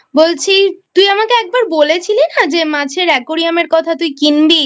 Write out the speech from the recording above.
বলছি তুই আমাকে একবার বলেছিলি না মাছের Aquarium এর কথা তুই কিনবি